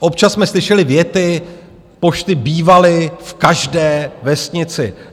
Občas jsme slyšeli věty: pošty bývaly v každé vesnici.